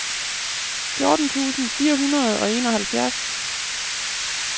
fjorten tusind fire hundrede og enoghalvfjerds